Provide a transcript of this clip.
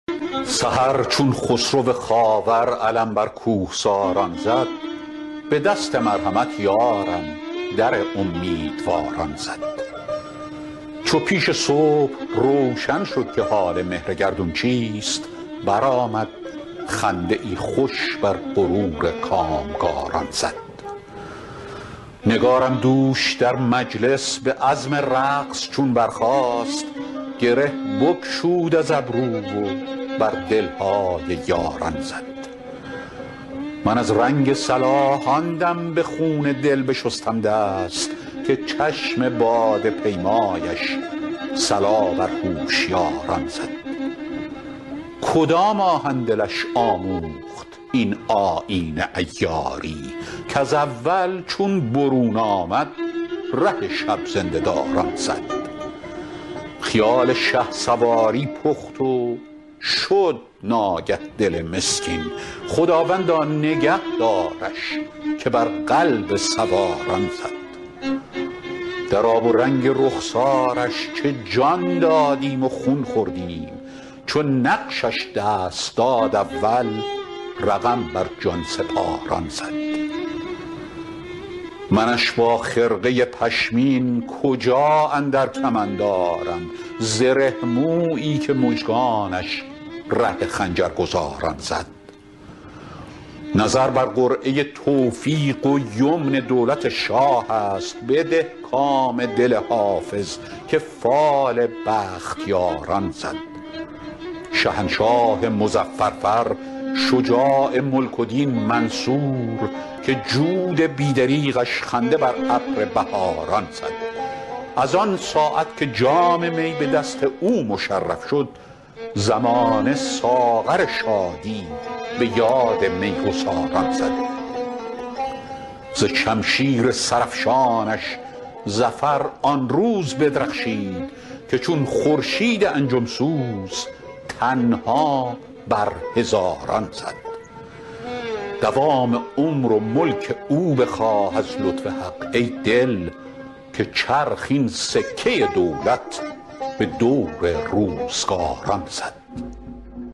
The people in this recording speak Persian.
سحر چون خسرو خاور علم بر کوهساران زد به دست مرحمت یارم در امیدواران زد چو پیش صبح روشن شد که حال مهر گردون چیست برآمد خنده ای خوش بر غرور کامگاران زد نگارم دوش در مجلس به عزم رقص چون برخاست گره بگشود از گیسو و بر دل های یاران زد من از رنگ صلاح آن دم به خون دل بشستم دست که چشم باده پیمایش صلا بر هوشیاران زد کدام آهن دلش آموخت این آیین عیاری کز اول چون برون آمد ره شب زنده داران زد خیال شهسواری پخت و شد ناگه دل مسکین خداوندا نگه دارش که بر قلب سواران زد در آب و رنگ رخسارش چه جان دادیم و خون خوردیم چو نقشش دست داد اول رقم بر جان سپاران زد منش با خرقه پشمین کجا اندر کمند آرم زره مویی که مژگانش ره خنجرگزاران زد نظر بر قرعه توفیق و یمن دولت شاه است بده کام دل حافظ که فال بختیاران زد شهنشاه مظفر فر شجاع ملک و دین منصور که جود بی دریغش خنده بر ابر بهاران زد از آن ساعت که جام می به دست او مشرف شد زمانه ساغر شادی به یاد می گساران زد ز شمشیر سرافشانش ظفر آن روز بدرخشید که چون خورشید انجم سوز تنها بر هزاران زد دوام عمر و ملک او بخواه از لطف حق ای دل که چرخ این سکه دولت به دور روزگاران زد